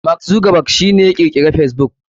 Mark Zuckerberg shi ne ya kirkiri facebook.